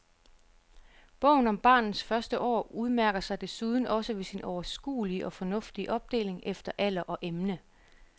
Bogen om barnets første år udmærker sig desuden også ved sin overskuelige og fornuftige opdeling efter alder og emne.